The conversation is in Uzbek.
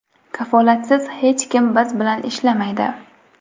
Kafolatsiz hech kim biz bilan ishlamaydi.